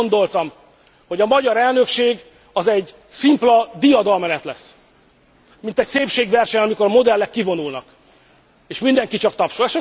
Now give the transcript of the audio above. Sose gondoltam, hogy a magyar elnökség az egy szimpla diadalmenet lesz, mint egy szépségverseny, mikor a modellek kivonulnak, és mindenki csak tapsol.